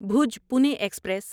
Bhoj Pune express